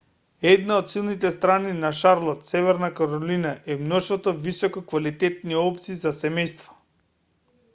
една од силните страни на шарлот северна каролина е мноштвото висококвалитетни опции за семејства